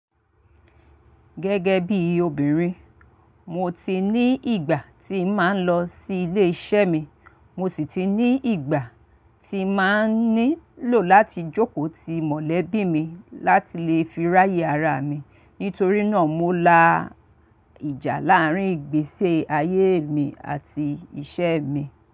Gẹ́gẹ́ bí obìnrin, mo ti ní ìgbà tí màá ń lọ sí ilé iṣẹ́ mi, mo sì ti ní ìgbà tí màá nílò láti jókòó ti mọ̀lẹ́bí mi láti lè fi ráyè ara mi. Nítorí náà, mo la ìjà láàárín ìgbése ayé mi àti iṣẹ́ mi.